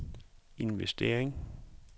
investering